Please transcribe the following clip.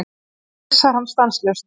Svo pissar hann stanslaust.